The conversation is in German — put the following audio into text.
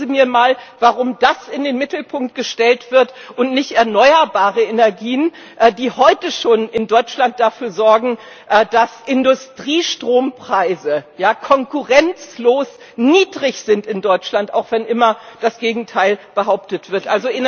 Erzählen Sie mir mal, warum das in den Mittelpunkt gestellt wird und nicht erneuerbare Energien, die heute schon in Deutschland dafür sorgen, dass Industriestrompreise konkurrenzlos niedrig sind, auch wenn immer das Gegenteil behauptet wird!